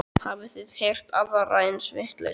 Hafið þið heyrt aðra eins vitleysu?